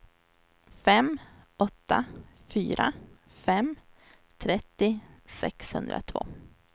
fem åtta fyra fem trettio sexhundratvå